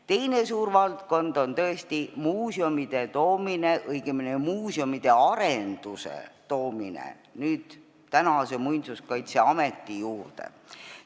Teine suur valdkond on muuseumide, õigemini muuseumide arenduse toomine praeguse Muinsuskaitseameti juurde.